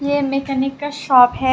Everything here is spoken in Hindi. ये मैकेनिक का शॉप है।